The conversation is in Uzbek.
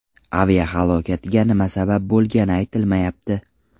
Aviahalokatga nima sabab bo‘lgani aytilmayapti.